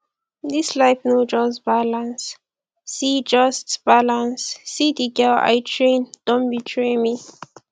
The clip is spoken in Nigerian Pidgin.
dis life no just balance see just balance see the girl i train don betray me